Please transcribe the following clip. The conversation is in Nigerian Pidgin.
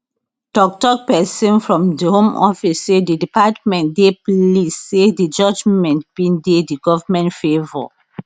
toktok pesin from di home office say di department dey pleased say di judgement bin dey di goment favour